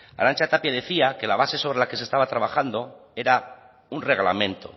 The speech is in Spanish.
arantxa tapia decía que la base sobre la que se estaba trabajando era un reglamento